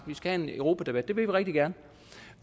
vi skal have en europadebat vil vi rigtig gerne og